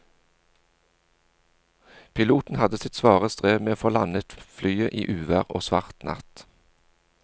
Piloten hadde sitt svare strev med å få landet flyet i uvær og svart natt.